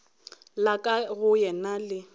la ka go yena le